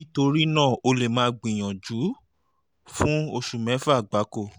nítorí náà o lè máa gbìyànjú fún oṣù mẹ́fà gbáko